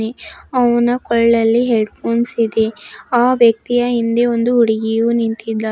ಅವ್ನ ಕೊಳ್ಳಲ್ಲಿ headphones ಇದೆ ಆ ವ್ಯಕ್ತಿಯ ಹಿಂದೆ ಒಂದು ಹುಡುಗಿಯು ನಿಂತಿದ್ದಾಳೆ.